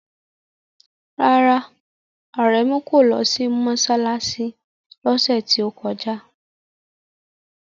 Rárá, Aremu kò lọ sí mọ́ṣáláṣí lọ́sẹ̀ tí ó kọjá.